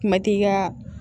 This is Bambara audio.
Kuma ti ka